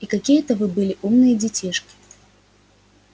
и какие это бы были умные детишки